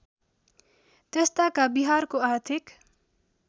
त्यसताका बिहारको आर्थिक